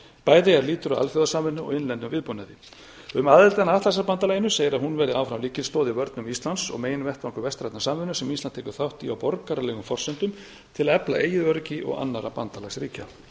bæði er lýtur að alþjóðasamvinnu og innlendum viðbúnaði um aðildina að atlantshafsbandalaginu segir að hún verði áfram lykilstoð í vörnum íslands og meginvettvangur vestrænnar samvinnu sem ísland tekur þátt í á borgaralegum forsendum til að efla eigin öryggi og annarra bandalagsríkja